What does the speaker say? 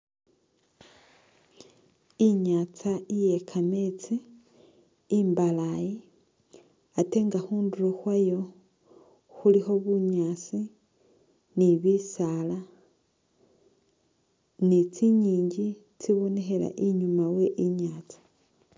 Inyatsa iye kameetsi imbalayi atenga khunduro khwayo khulikho bunyaasi ni bisaala ni tsinyingi tsibonekhela inyuma we inyatsa.